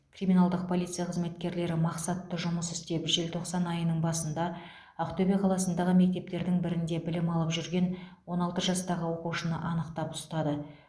криминалдық полиция қызметкерлері мақсатты жұмыс істеп желтоқсан айының басында ақтөбе қаласындағы мектептердің бірінде білім алып жүрген он алты жастағы оқушыны анықтап ұстады